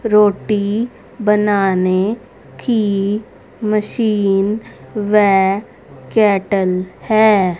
रोटी बनाने की मशीन व कैटल है।